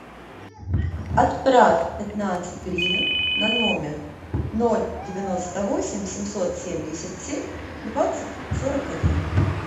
отправь пятнадцать гривен на номер ноль девяносто восемь семьсот семьдесят семь двадцать сорок один